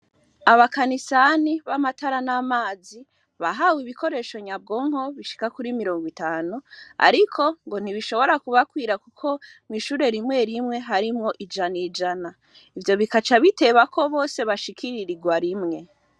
Abakanisani b'amatara n'amazi bahawe ibikoresho nyabwonko bishika kuri mirongo itanu, ariko ngo ntibishobora kubakwira, kuko mw'ishure rimwe rimwe harimwo ijana ijana ivyo bikaca bitebako bose bashikiririrwa rimwe.